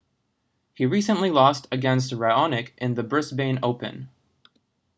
he recently lost against raonic in the brisbane open